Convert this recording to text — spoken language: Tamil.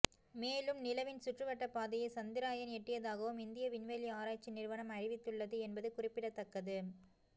மேலும் நிலவின் சுற்றுவட்டப் பாதையை சந்திரயான் எட்டியதாகவும் இந்திய விண்வெளி ஆராய்ச்சி நிறுவனம் அறிவித்துள்ளது என்பது குறிப்பிடத்தக்கது